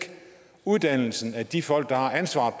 uddannelsen af de folk der har ansvaret